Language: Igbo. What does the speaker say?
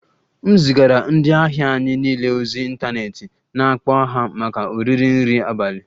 M zigara ndị ahịa anyị niile ozi ịntanetị na-akpọ ha maka oriri nri abalị